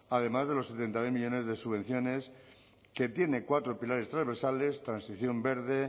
además de los setenta mil millónes de subvenciones que tiene cuatro pilares transversales transición verde